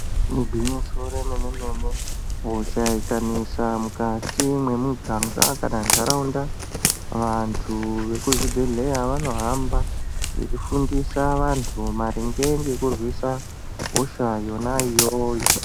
Igwinyiso remene-mene hosha ikanesa mukati mumuganga kana muntaraunda vantu veku zvibhedhlera vanohamba vachifundisa vantu maringe ngekurwisa hosha yona iyoyo.